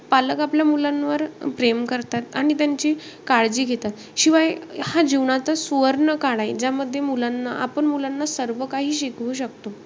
पालक आपल्या मुलांवर प्रेम करतात. आणि त्यांची काळजी घेतात. शिवाय, हा जीवनाचा सुवर्ण काळ आहे. ज्यामध्ये, मुलांना आपण मुलांना सर्व काही शिकवू शकतो.